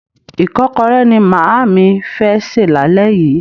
Ìkọ́kọrẹ́ ni màámi fẹ́ sè lálẹ́ yìí.